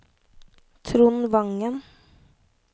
Trond Wangen